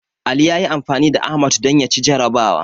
Ali ya yi anfani da Ahmad don ya ci jarrabawa.